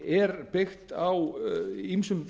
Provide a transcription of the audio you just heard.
er byggt á ýmsum